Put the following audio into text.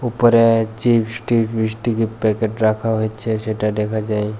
উপরে chips tips biscuit এর packet রাখা হয়েছে সেটা দেখা যায়।